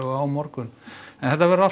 á morgun en þetta verður allt